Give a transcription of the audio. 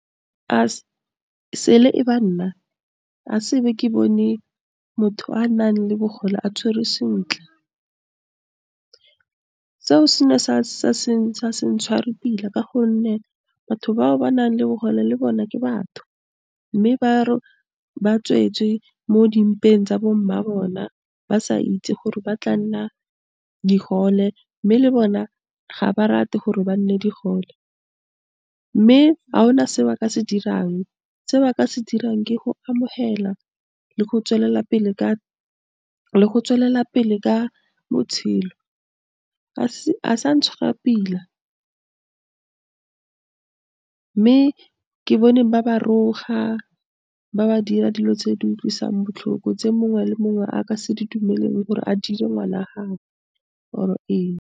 A sele e ba nna a se be ke bone motho a nang le bogole a tshwerwe sentle. Seo se ne sa ntshware pila ka gonne, batho bao ba nang le bogole le bone ke batho, mme ba tswetswe mo dimpeng tsa bo mma bona, ba sa itse gore ba tla nna digole. Mme le bona ga ba rate gore ba nne digole, mme a gona se ba ka se dirang se ba ka se dirang ke go amogela le go tswelelapele ka botshelo. a sa ntshwara pila, mme ke bone ba ba roga, ba ba dira dilo tse di utlwisang botlhoko, tse mongwe le mongwe a ka se di dumeleleng gore a dire ngwana gage or-e eng.